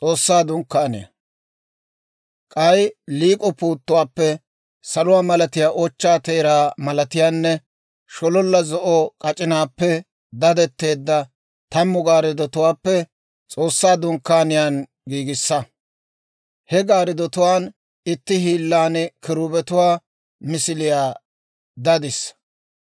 «K'ay liik'o puuttuwaappe saluwaa malatiyaa, ochchaa teeraa malatiyaanne shololla zo'o k'ac'inaappe dadetteedda tammu gaarddotuwaappe S'oossaa Dunkkaaniyaa giigissa. He gaarddotuwaan itti hiillan kiruubetuwaa misiliyaa dadissa.